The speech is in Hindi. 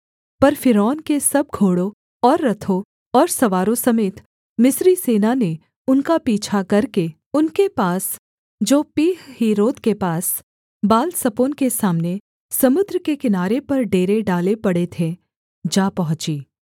पर फ़िरौन के सब घोड़ों और रथों और सवारों समेत मिस्री सेना ने उनका पीछा करके उनके पास जो पीहहीरोत के पास बालसपोन के सामने समुद्र के किनारे पर डेरे डालें पड़े थे जा पहुँची